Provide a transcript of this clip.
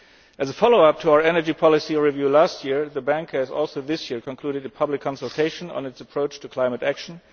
As a follow up to our energy policy review last year, the Bank has also this year concluded a public consultation on its approach to climate